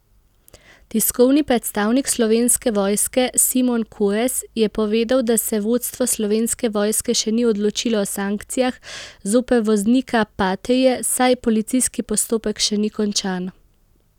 Tiskovni predstavnik Slovenske vojske Simon Korez je povedal, da se vodstvo Slovenske vojske še ni odločilo o sankcijah zoper voznika patrie, saj policijski postopek še ni končan.